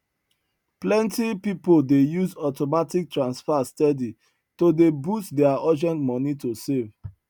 plenty people dey use automatic transfer steady to dey boost their urgent money to save